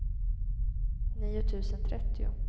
nio tusen trettio